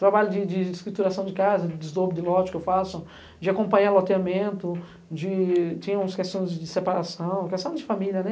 Trabalho de de escrituração de casa, de desdobro de lote que eu faço, de acompanhar loteamento, de tinha uns questões de separação, questões de família, né?